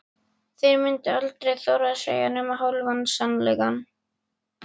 Þeir myndu aldrei þora að segja nema hálfan sannleikann.